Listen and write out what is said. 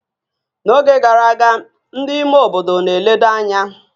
N'oge gara aga, ndị ime obodo na-eledo anya